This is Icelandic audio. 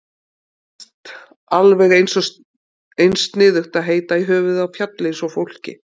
Mér finnst alveg eins sniðugt að heita í höfuðið á fjalli eins og fólki.